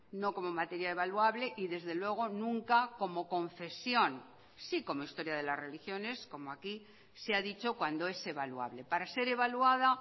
no como materia evaluable y desde luego nunca como confesión sí como historia de las religiones como aquí se ha dicho cuando es evaluable para ser evaluada